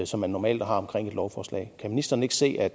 som man normalt har omkring et lovforslag kan ministeren ikke se at